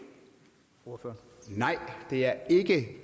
for